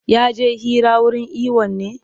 Ya je hira wurin iwon ne?